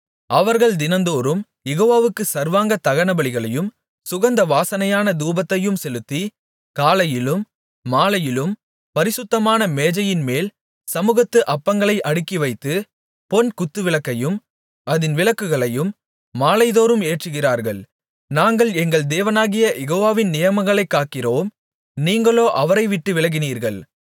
அவர்கள் தினந்தோறும் யெகோவாவுக்குச் சர்வாங்க தகனபலிகளையும் சுகந்த வாசனையான தூபத்தையும் செலுத்தி காலையிலும் மாலையிலும் பரிசுத்தமான மேஜையின்மேல் சமுகத்து அப்பங்களை அடுக்கிவைத்து பொன் குத்துவிளக்கையும் அதின் விளக்குகளை மாலைதோறும் ஏற்றுகிறார்கள் நாங்கள் எங்கள் தேவனாகிய யெகோவாவின் நியமங்களைக் காக்கிறோம் நீங்களோ அவரை விட்டு விலகினீர்கள்